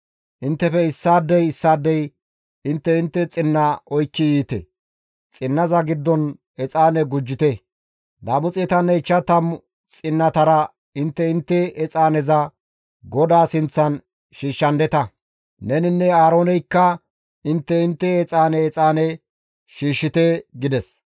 Inttefe issaadey issaadey intte intte xinna oykki yiite; xinnaza giddon exaane gujjite; 250 xinnatara intte intte exaaneza GODAA sinththan shiishshandeta; neninne Aarooneykka intte intte exaane exaane shiishshite» gides.